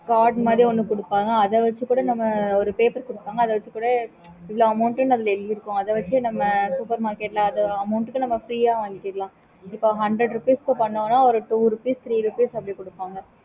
okay mam